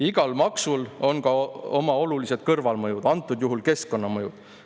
Igal maksul on ka oma olulised kõrvalmõjud, antud juhul keskkonnamõjud.